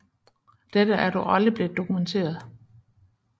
Dette er dog aldrig blevet dokumenteret